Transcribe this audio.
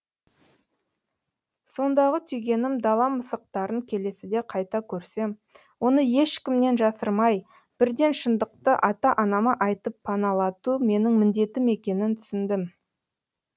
сондағы түйгенім дала мысықтарын келесіде қайта көрсем оны ешкімнен жасырмай бірден шындықты ата анама айтып паналату менің міндетім екенін түсіндім